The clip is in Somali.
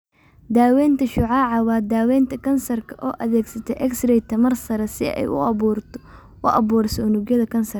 Dawaynta shucaaca waa daawaynta kansarka oo adeegsata x rays tamar sare si ay u burburiso unugyada kansarka.